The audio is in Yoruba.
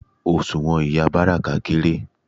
Òṣùwọ̀n ìyá Báràká kééré.